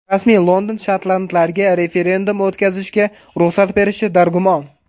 Rasmiy London shotlandlarga referendum o‘tkazishga ruxsat berishi dargumon.